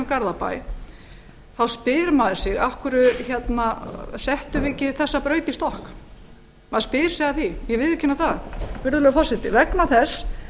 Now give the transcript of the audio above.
garðabæ þá spyr maður sig af hverju settum við ekki þessa braut í stokk maður spyr sig að því ég viðurkenni það virðulegi forseti vegna þess